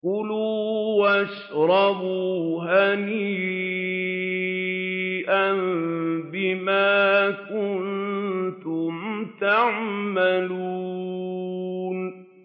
كُلُوا وَاشْرَبُوا هَنِيئًا بِمَا كُنتُمْ تَعْمَلُونَ